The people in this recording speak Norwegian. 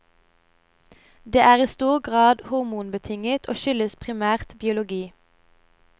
Det er i stor grad hormonbetinget, og skyldes primært biologi.